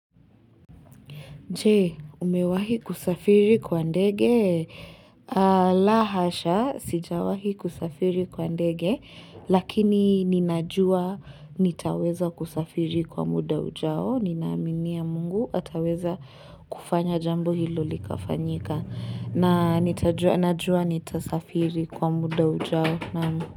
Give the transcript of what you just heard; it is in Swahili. Je, umewahi kusafiri kwa ndege? La hasha, sijawahi kusafiri kwa ndege, lakini ninajua nitaweza kusafiri kwa muda ujao. Ninaaminia mungu ataweza kufanya jambo hilo likafanyika. Na nitajua nitasafiri kwa muda ujao.